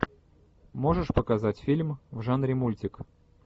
можешь показать фильм в жанре мультик